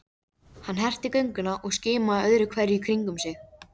Hann herti gönguna og skimaði öðru hverju í kringum sig.